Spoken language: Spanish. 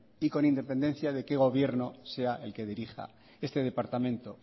y con independencia de qué gobierno sea el que dirija este departamento